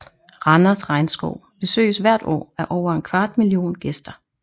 Randers Regnskov besøges hvert år af over en kvart million gæster